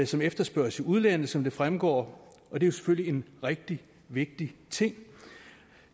som efterspørges i udlandet sådan som det fremgår og det er selvfølgelig en rigtig vigtig ting